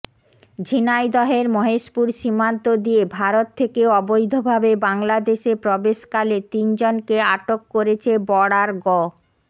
ঝিনাইদহের মহেশপুর সীমান্ত দিয়ে ভারত থেকে অবৈধভাবে বাংলাদেশে প্রবেশকালে তিনজনকে আটক করেছে বর্ডার গ